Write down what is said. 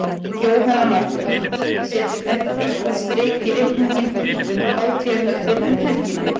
Jóhanna Margrét: Setur þetta eitthvað strik í reikninginn um hátíðarhöldin um helgina?